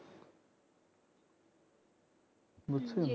বুঝছো